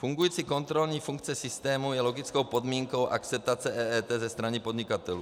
Fungující kontrolní funkce systému je logickou podmínkou akceptace EET ze strany podnikatelů.